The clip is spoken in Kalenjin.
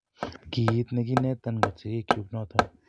Kiit negiinetan kot sigikyuk noton.